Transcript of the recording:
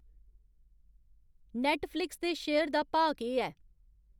Netflix दे share दा भाऽ केह् ऐ